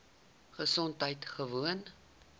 gesondheidgewoon